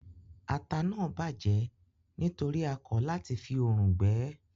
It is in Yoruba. Ata náà bàjẹ́ nítorí a kọ lati fi òrùn gbẹ ẹ́